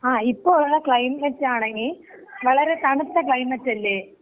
ങാ. ഇപ്പോ ഉള്ള ക്ലൈമറ്റ് ആണങ്കി വളരെ തണുത്ത ക്ലൈമറ്റ് അല്ലേ?